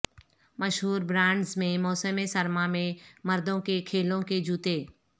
مشہور برانڈز میں موسم سرما میں مردوں کے کھیلوں کے جوتے